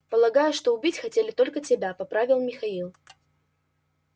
полагаю что убить хотели только тебя поправил михаил